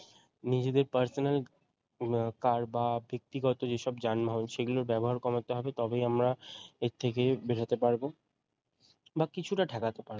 নিজের personal car বা ব্যক্তিগত যেসব যানবাহন সেগুলোর ব্যবহার কমাতে হবে তবেই আমরা এর থেকে বেরোতে পারব বা কিছুটা ঠেকাতে পারবো